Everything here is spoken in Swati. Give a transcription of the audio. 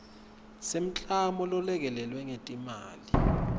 semklamo lolekelelwe ngetimali